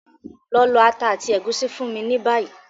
Lọ lọ ata àti ègúsí fún mi ni bayi!